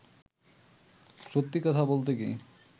সত্যি কথা বলতে কী